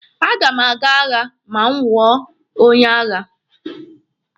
A ga m aga agha ma m wụọ onye agha.